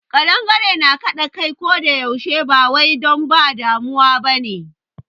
Ƙadangare na kaɗa kai ko da yaushe ba wai don ba damuwa ba ne.